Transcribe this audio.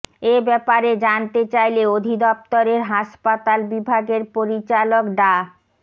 এ ব্যাপারে জানতে চাইলে অধিদপ্তরের হাসপাতাল বিভাগের পরিচালক ডা